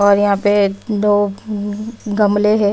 और यहाँ पे दो गमले हैं।